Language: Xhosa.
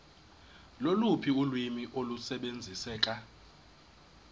loluphi ulwimi olusebenziseka